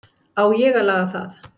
Á ég að laga það?